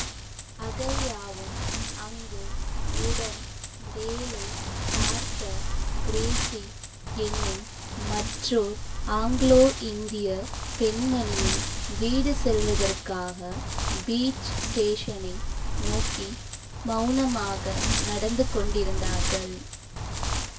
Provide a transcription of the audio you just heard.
அகல்யாவும் அங்கு உடன் வேலை பார்த்த கிரேஸி என்னும் மற்றோர் ஆங்கிலோ இந்திய பெண்மணியும் வீடு செல்வதற்காக பீச் ஸ்டேஷனை நோக்கி மௌனமாக நடந்து கொண்டிருந்தார்கள்